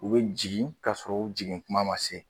U bɛ jigin kasɔrɔ u jiginkuma ma se